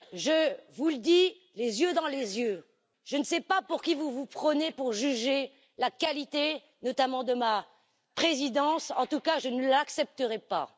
Je vous le dis les yeux dans les yeux, je ne sais pas pour qui vous vous prenez pour juger la qualité, notamment de ma présidence, en tout cas je ne l'accepterai pas.